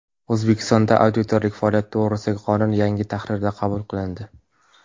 O‘zbekistonda auditorlik faoliyati to‘g‘risidagi qonun yangi tahrirda qabul qilindi.